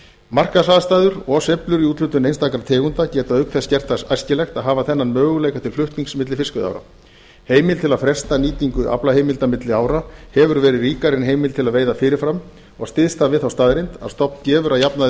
markaðsaðstæður og sveiflur í úthlutun einstakra tegunda geta auk þess gert það æskilegt að hafa þennan möguleika til flutnings milli fiskveiðiára heimild til að fresta nýtingu aflaheimilda milli ára hefur verið ríkari en heimild til að veiða fyrir fram og styðst það við þá staðreynd að stofn gefur að jafnaði